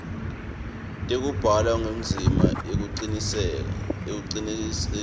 tekubhalwa kwendzima kucinisekisa